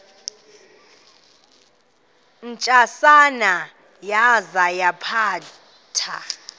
ntsasana yaza yaphatha